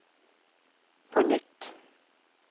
på nytt